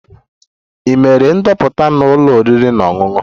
Ị mere ndoputa na ụlọ oriri na ọṅụṅụ?